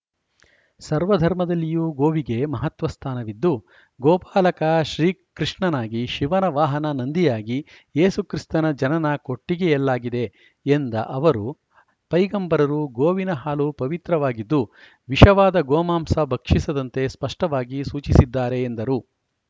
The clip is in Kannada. ಸರ್ವ ಧರ್ಮದಲ್ಲಿಯೂ ಗೋವಿಗೆ ಮಹತ್ವ ಸ್ಥಾನವಿದ್ದುಗೋಪಾಲಕ ಶ್ರೀಕೃಷ್ಣನಾಗಿಶಿವನ ವಾಹನ ನಂದಿಯಾಗಿಏಸು ಕ್ರಿಸ್ಥನ ಜನನ ಕೊಟ್ಟಿಗೆಯಲ್ಲಾಗಿದೆ ಎಂದ ಅವರು ಪೈಗಂಬರರು ಗೋವಿನ ಹಾಲು ಪವಿತ್ರವಾಗಿದ್ದುವಿಷವಾದ ಗೋಮಾಂಸ ಭಕ್ಷಿಸದಂತೆ ಸ್ಪಷ್ಟವಾಗಿ ಸೂಚಿಸಿದ್ದಾರೆ ಎಂದರು